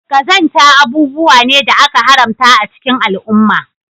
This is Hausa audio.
Qazanta abubuwa ne da aka haramta a cikin al'umma